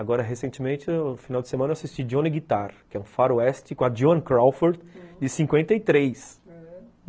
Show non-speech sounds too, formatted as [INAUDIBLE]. Agora, recentemente, no final de semana, eu assisti Johnny Guitar, que é um faroeste com a Joan Crawford, de cinquenta e três. [UNINTELLIGIBLE]